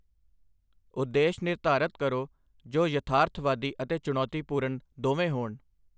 ਉਦੇਸ਼ ਨਿਰਧਾਰਤ ਕਰੋ ਜੋ ਯਥਾਰਥਵਾਦੀ ਅਤੇ ਚੁਣੌਤੀਪੂਰਨ ਦੋਵੇਂ ਹੋਣ।